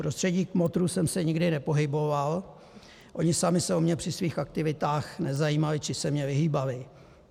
V prostředí kmotrů jsem se nikdy nepohyboval, oni sami se o mě při svých aktivitách nezajímali či se mi vyhýbali.